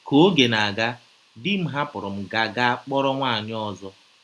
Ka ọge na - aga, di m hapụrụ m gaa gaa kpọrọ nwaanyị ọzọ.